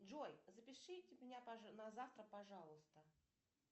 джой запишите меня на завтра пожалуйста